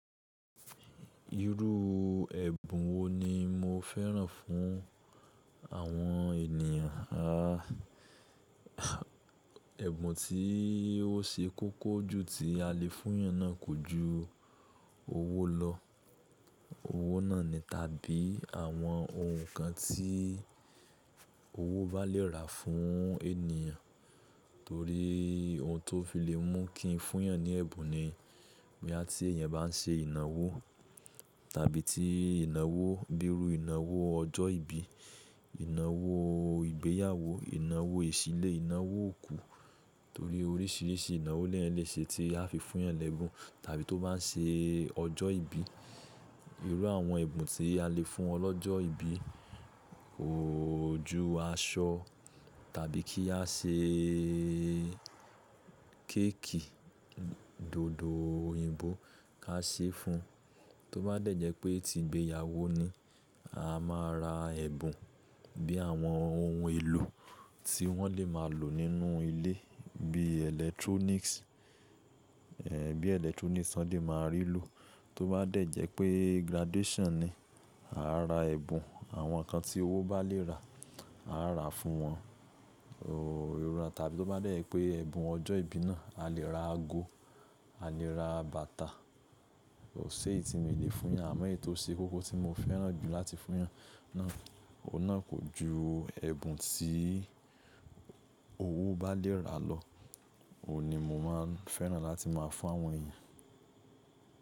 Irú ẹ̀bùn wo ni mo fẹ́ràn fún àwọn ènìyàn? À, ẹ̀bùn tí ó ṣe kókó jù tí a le fún èyàn náà kò ju owó lọ. Owó náà ni tàbí àwọn ohun kan tí owó bá lè rà fún ènìyàn. Torí ohun tó fi lè mú kí n fún yàn ní ẹ̀bùn ni boya ti èyàn bá n ṣe ìnáwó tàbí tí ìnáwó, bíi irú ìnáwó ọjọ́ ìbí, ìnáwó ìgbéyàwó, ìnáwó ìṣílé, ìnáwó òkú. Torí oríṣìíríṣìí ìnáwó leyan lè ṣe tí a fi fún yan lẹ́bùn tàbí tó bá n ṣe ọjọ́ ìbí. Irú àwọn ẹ̀bùn tí a lè fún wọn lọ́jọ́ ìbí, kò jù aṣọ tàbí kí a ṣe kéèkì, dòdò òyìnbó ká ṣe fún. Tó bá dẹ̀ jẹ́ pé tí ìgbéyàwó ni, a máa ra ẹ̀bùn bí àwọn ohun èlò tí wọ́n lè máa lò nínú ilé bí electronics, ẹ, bí electronics wọn lè máa rí lò. Tó bá dẹ̀ jẹ́ pé graduation ni, a ra ẹ̀bùn àwọn nǹkan tí owó bá lè rà, a rà fún wọn, ooo, irú ẹ tàbí tó bá dẹ̀ jẹ́ pé ẹ̀bùn ọjọ́ ìbí náà, a lè ra ago, a lè ra bàtà. Kọ ṣé èyí tí mi o lè fún yan. Àmọ́ èyí tó ṣe kókó tí mo fẹ́ràn jù láti fún yàn náà, òun náà kò ju ẹ̀bùn tí owó bá lè rà lọ. Òun ni mo máa ń fẹ́ràn láti máa fún àwọn èyàn.